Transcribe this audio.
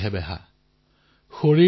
আমাৰ ইয়াত কোৱা হয় যথা অন্নম তথা মন্নম